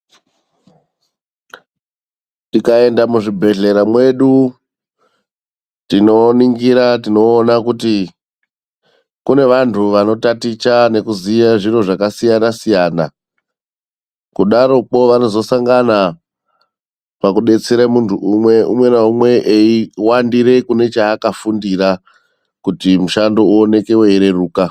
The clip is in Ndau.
Tikaenda muzvibhedhlera medu tinoningira tinoona kuti kune vantu vanotaticha nekuziye zviro zvakasiyana siyana kudaroko vanozosangana pakudetsera muntu, umwe na umwe eienda kune zvakaakafundira kuti mushando uwane weyi reruka .